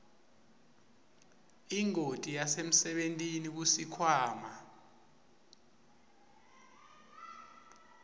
ingoti yasemsebentini kusikhwama